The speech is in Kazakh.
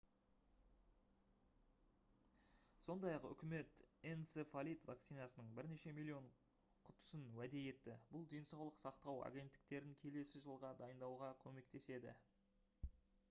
сондай-ақ үкімет энцефалит вакцинасының бірнеше миллион құтысын уәде етті бұл денсаулық сақтау агенттіктерін келесі жылға дайындауға көмектеседі